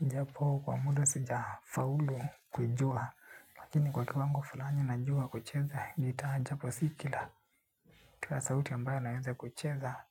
Japo kwa muda sija faulu kujua. Lakini kwa kiwango fulani najua kucheza gitaa japo si kila kila sauti ambayo naweza kucheza.